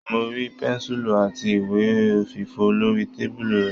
Mo rí pẹ́ńsùlù àti ìwé òfìfọ lórí tábìlì rẹ̀.